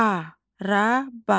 Araba.